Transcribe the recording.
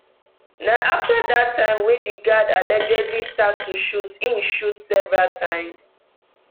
na afta dat time wey di guard allegedly start to shoot im shoot several times